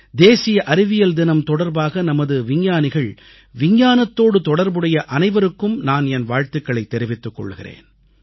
தேசிய அறிவியல் தினம் தொடர்பாக நமது விஞ்ஞானிகள் விஞ்ஞானத்தோடு தொடர்புடைய அனைவருக்கும் நான் என் வாழ்த்துகளைத் வாழ்த்துகளைத் கொள்கிறேன்